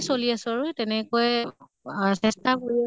চলি আছো আৰু তেনেকুৱাই আহ চেষ্টা কৰোঁ